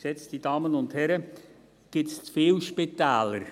» Geschätzte Damen und Herren, gibt es zu viele Spitäler?